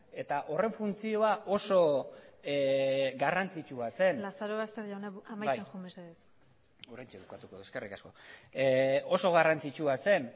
eta horren funtzioa osoa garrantzitsua zen lazarobaster jauna amaitzen joan mesedez bai oraintxe bukatuko dut eskerrik asko oso garrantzitsua zen